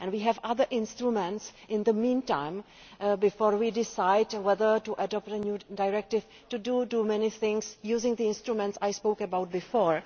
We have other instruments in the meantime, before we decide whether to adopt a new directive, to do many things using the instruments I spoke about before.